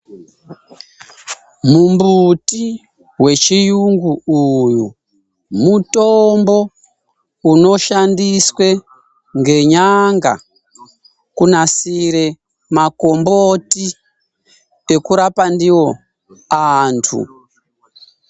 Mumbuti wechiyungu uyu mitombo inoshandiswe ngenyanga kunasire makomboti nekurapa ndiwo antu.